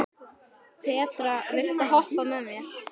Petra, viltu hoppa með mér?